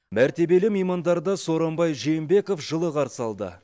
мәртебелі меймандарды сооронбай жээнбеков жылы қарсы алды